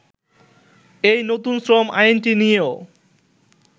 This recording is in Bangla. এই নতুন শ্রম আইনটি নিয়েও